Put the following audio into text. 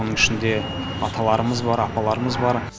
оның ішінде аталарымыз бар апаларымыз бар